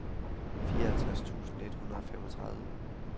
fireoghalvtreds tusind et hundrede og femogtredive